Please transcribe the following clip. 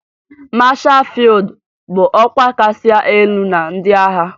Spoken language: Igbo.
Mashaa fịyụd bụ ọkwa kasị elu na ndị agha